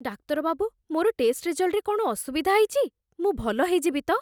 ଡାକ୍ତର ବାବୁ, ମୋର ଟେଷ୍ଟ ରେଜଲ୍ଟରେ କ'ଣ ଅସୁବିଧା ହେଇଛି? ମୁଁ ଭଲ ହେଇଯିବି ତ?